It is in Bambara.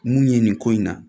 Mun ye nin ko in na